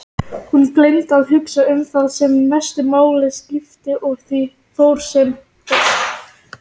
Víkur þá sögunni að skriflegum heimildum.